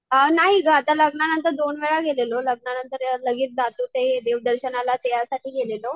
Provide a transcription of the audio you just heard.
अ नाही गं आता लग्नानंतर दोन वेळा गेलेलो. लग्नानंतर लगेच जातो ते देव दर्शनाला त्यासाठी गेलेलो.